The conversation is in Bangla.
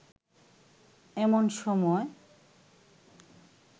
এমন সময়